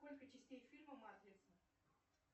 сколько частей фильма матрица